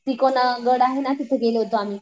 तिकोना गड आहे ना तिथं गेलो होतो आम्ही.